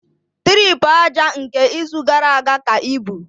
Tripu aja nke izu gara aga ka ibu